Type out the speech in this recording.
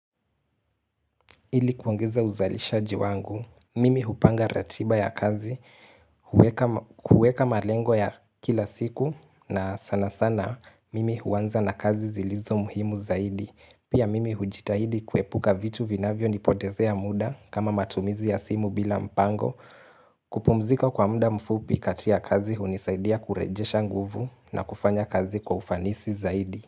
Ili kuongeza uzalishaji wangu, mimi hupanga ratiba ya kazi, huweka huweka malengo ya kila siku na sana sana mimi huanza na kazi zilizo muhimu zaidi. Pia mimi hujitahidi kuepuka vitu vinavyo nipotezea muda kama matumizi ya simu bila mpango, kupumzika kwa muda mfupi kati ya kazi hunisaidia kurejesha nguvu na kufanya kazi kwa ufanisi zaidi.